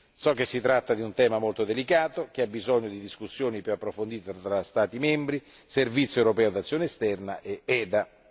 So che si tratta di un tema molto delicato, che ha bisogno di discussioni più approfondite fra Stati membri, Servizio europeo di azione esterna ed EDA.